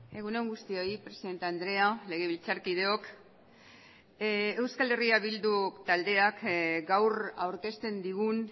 egun on guztioi presidente andrea legebiltzarkideok euskal herria bildu taldeak gaur aurkezten digun